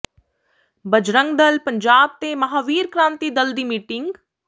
ਬਜਰੰਗ ਦਲ ਪੰਜਾਬ ਤੇ ਮਹਾਂਵੀਰ ਕ੍ਰਾਂਤੀ ਦਲ ਦੀ ਮੀਟਿੰਗ